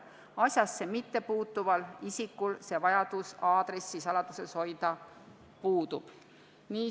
Asjasse mittepuutuval isikul vajadus aadressi saladuses hoida puudub.